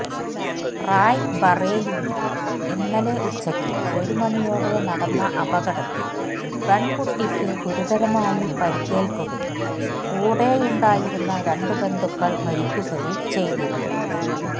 റായ്ബറേലിയിൽ ഇന്നലെ ഉച്ചയ്ക്ക് ഒരു മണിയോടെ നടന്ന അപകടത്തിൽ പെൺകുട്ടിക്ക് ഗുരുതരമായി പരിക്കേൽക്കുകയും കൂടെയുണ്ടായിരുന്ന രണ്ട് ബന്ധുക്കൾ മരിക്കുകയും ചെയ്തിരുന്നു